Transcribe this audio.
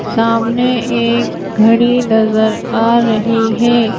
सामने एक घड़ी नजर आ रही है।